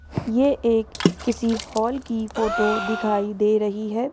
ये एक किसी हॉल की फोटो दिखाई दे रही है।